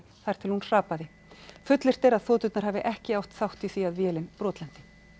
til hún hrapaði fullyrt er að þoturnar hafi ekki átt þátt í því að vélin brotlenti